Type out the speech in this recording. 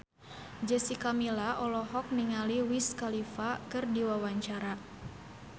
Jessica Milla olohok ningali Wiz Khalifa keur diwawancara